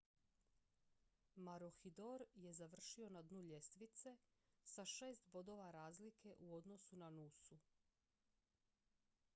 maroochydore je završio na dnu ljestvice sa šest bodova razlike u odnosu na noosu